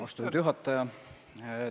Austatud juhataja!